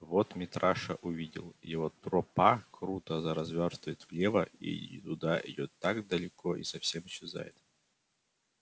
вот митраша увидел его тропа круто завёртывает влево и туда идёт далеко и там совсем исчезает